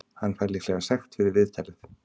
Hann fær líklega sekt fyrir viðtalið.